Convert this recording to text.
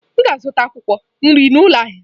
M ga-azụta akwụkwọ nri n'ụlọ ahịa.